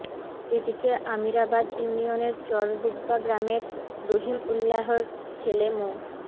এদিকে আমিরাবাদ ইউনিয়নের চরডুব্বা গ্রামের রহিম উল্যাহর ছেলে মো